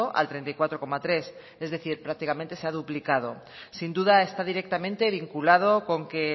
al treinta y cuatro coma tres es decir prácticamente se ha duplicado sin duda está directamente vinculado con que